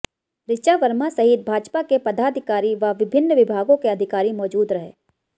ऋचा वर्मा सहित भाजपा के पदाधिकारी व विभिन्न विभागों के अधिकारी मौजूद रहे